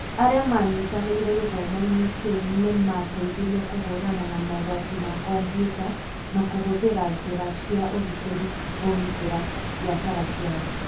Arĩa maanyitanĩire gĩthomo-inĩ kĩu nĩ maateithirio kũhũrana na mogwati ma kompiuta na kũhũthĩra njĩra cia ũgitĩri kũgitĩra biacara ciao.